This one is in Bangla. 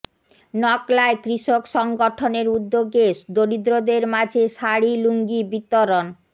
নকলায় কৃষক সংগঠনের উদ্যোগে দরিদ্রদের মাঝে শাড়ি লুঙ্গী বিতরণ